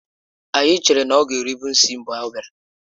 Anyị chere na ọ ga erụbe isi mgbe ọ bịara